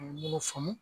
Mun faamu